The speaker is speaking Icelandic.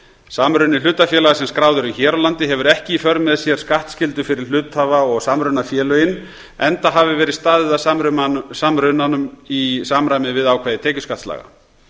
samruni hlutafélaga sem skráð eru hér á landi hefur ekki í för með sér skattskyldu fyrir hluthafa og samrunafélögin enda hafi verið staðið að samrunanum í samræmi við ákvæði tekjuskattslaga